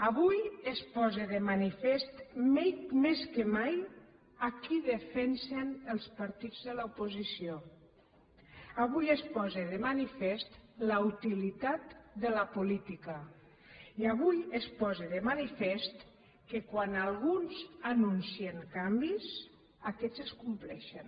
avui es posa de manifest més que mai a qui defensen els partits de l’oposició avui es posa de manifest la utilitat de la política i avui es posa de manifest que quan alguns anuncien canvis aquests es compleixen